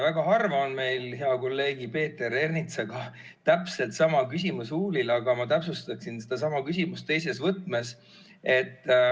Väga harva on meil hea kolleegi Peeter Ernitsaga täpselt sama küsimus huulil, aga ma täpsustaksin sedasama küsimust teises võtmes.